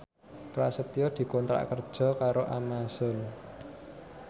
Prasetyo dikontrak kerja karo Amazon